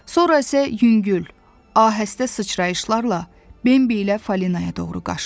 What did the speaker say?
Sonra isə yüngül, ahəstə sıçrayışlarla Bembi ilə Falinaya doğru qaçdı.